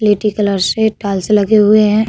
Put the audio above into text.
स्लेटी कलर से टाइल्स लगे हुए हैं।